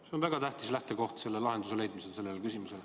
See on väga tähtis lähtekoht sellele küsimusele lahenduse leidmisel.